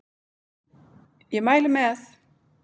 Ég mæli með!